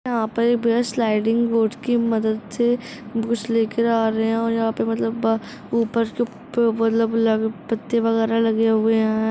यहाँ पर sliding board की मदद से लेकर आ रहे हैं और यहाँ पर मतलब ऊपर उप पत्ते वगेरा लगे हुए हैं।